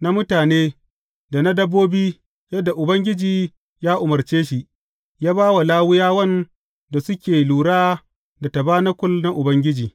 na mutane da na dabbobi, yadda Ubangiji ya umarce shi, ya ba wa Lawiyawan da suke lura da tabanakul na Ubangiji.